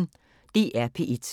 DR P1